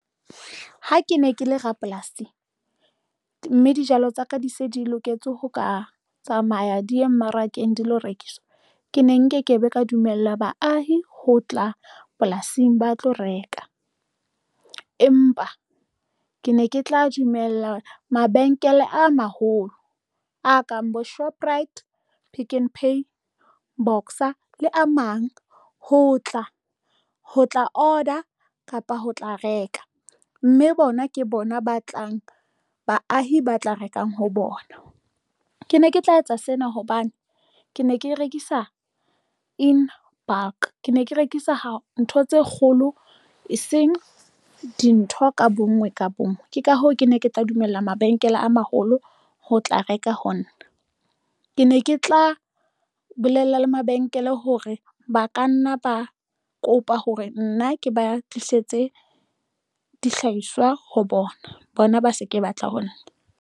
Ha ke ne ke le rapolasi mme dijalo tsaka di se di loketse ho ka tsamaya di ye mmarakeng dilo rekiswa ke ne nkekebe ka dumella baahi ho tla polasing ba tlo reka, empa ke ne ke tla dumella mabenkele a maholo a kang bo Shoprite, Pick n Pay Boxer le a mang. Ho tla ho tla order kapa ho tla reka mme bona ke bona ba tlang baahi ba tla rekang ho bona. Ke ne ke tla etsa sena hobane ke ne ke rekisa in bulk, ke ne ke rekisa ho ntho tse kgolo eseng dintho ka bonngwe ka bonngwe. Ke ka hoo, ke ne ke tla dumella mabenkele a maholo ho tla reka ho nna, ke ne ke tla bolella le mabenkele hore ba ka nna ba kopa hore nna ke ba tlisetse dihlahiswa ho bona bona, ba se ke batla ho nna.